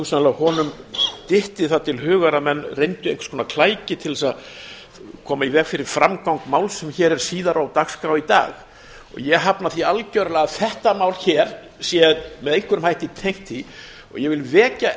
nema hugsanlega honum dytti það til hugar að menn reyndu einhvers konar klæki til að koma í veg fyrir framgang máls sem er hér síðar á dagskrá í dag ég hafna því algjörlega að þetta mál hér sé með einhverjum hætti tengt því og ég vil vekja